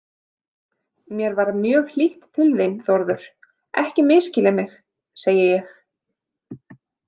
Mér er mjög hlýtt til þín, Þórður, ekki misskilja mig, segi ég.